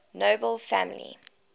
nobel family